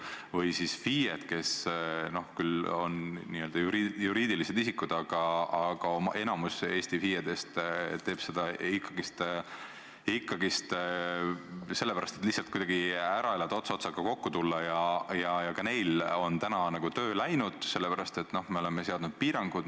Või siis FIE-d, kes on küll juriidilised isikud, aga enamik Eesti FIE-dest töötab sellises vormis ikkagi sellepärast, et lihtsalt ära elada ja ots otsaga kokku tulla – ka neil on täna töö läinud, sest me oleme seadnud piirangud.